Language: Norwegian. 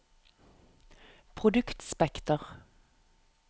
produktspekter